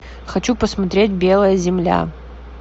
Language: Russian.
хочу посмотреть белая земля